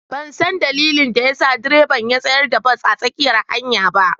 Ban san dalilin da ya sa direban ya tsayar da bas a tsakiyar hanyar ba.